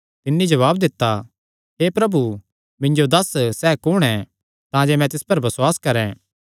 तिन्नी जवाब दित्ता हे प्रभु मिन्जो दस्स सैह़ कुण ऐ तांजे मैं तिस पर बसुआस करैं